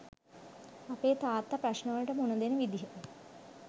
අපේ තාත්තා ප්‍රශ්නවලට මුණ දෙන විදිහ